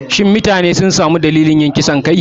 Shin mutanen sun sami dalilan kisan kai?